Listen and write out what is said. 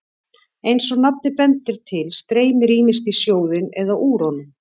Eins og nafnið bendir til streymir ýmist í sjóðinn eða úr honum.